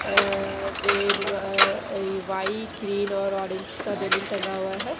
अह red uh white green और orange का balloon टंगा हुआ है।